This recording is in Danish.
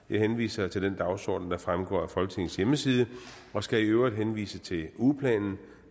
jeg henviser til den dagsorden der fremgår af folketingets hjemmeside og skal i øvrigt henvise til den ugeplan